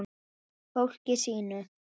Fólkinu sínu.